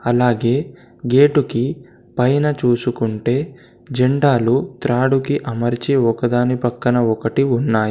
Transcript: అలాగే గేటుకి పైన చూసుకుంటే జెండాలు త్రాడుకి అమర్చి ఒకదాని పక్కన ఒకటి ఉన్నాయ్.